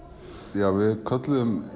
já við kölluðum